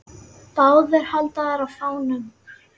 Báðir halda þeir á fánum.